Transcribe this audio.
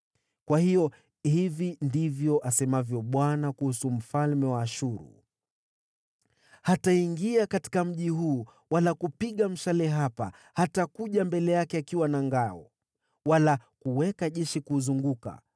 “Kwa hiyo hili ndilo asemalo Bwana kuhusu mfalme wa Ashuru: “Hataingia katika mji huu wala hatapiga mshale hapa. Hatakuja mbele yake akiwa na ngao, wala kupanga majeshi kuuzingira.